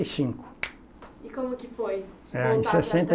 e cinco. E como que foi? É em sessenta